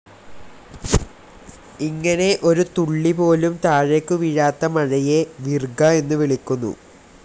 ഇങ്ങനെ ഒരു തുള്ളിപോലും താഴേക്കു വീഴാത്ത മഴയെ വിർഗ എന്നുവിളിക്കുന്നു.